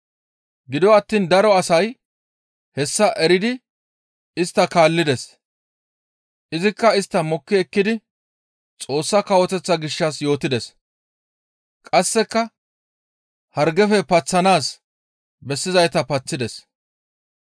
Gido attiin daro asay hessa eridi istta kaallides; izikka istta mokki ekkidi Xoossa Kawoteththa gishshas yootides; qasseka hargefe paththanaas bessizayta paththides.